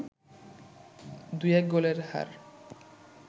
২-১ গোলের হার